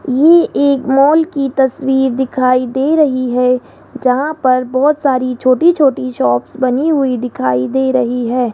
ये एक मॉल की तस्वीर दिखाई दे रही है जहां पर बहोत सारी छोटी छोटी शॉप्स बनी हुई दिखाई दे रही है।